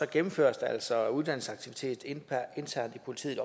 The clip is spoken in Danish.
gennemføres der altså uddannelsesaktiviteter internt i politiet